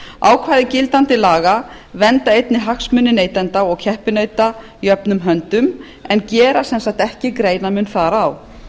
ákvæði gildandi laga vernda einnig hagsmuni neytenda og keppinauta jöfnum höndum en gera ekki sérstakan greinarmun þar á